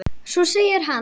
Svo segir hann.